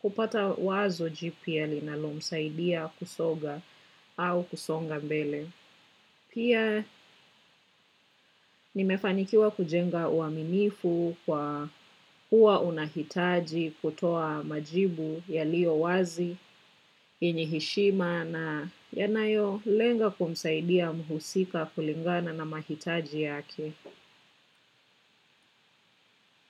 kupata wazo jipya linalomsaidia kusoga au kusonga mbele. Pia nimefanikiwa kujenga uaminifu kwa kuwa unahitaji kutoa majibu yaliyo wazi, yenye heshima na yanayo lenga kumsaidia mhusika kulingana na mahitaji yake.